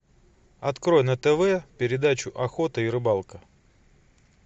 открой на тв передачу охота и рыбалка